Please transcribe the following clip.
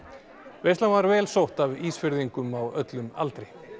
veislan var vel sótt af Ísfirðingum á öllum aldri